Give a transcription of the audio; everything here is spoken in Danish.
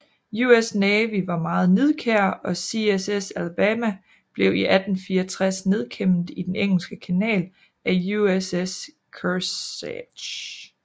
US Navy var meget nidkær og CSS Alabama blev i 1864 nedkæmpet i den Engelske Kanal af USS Kearsarge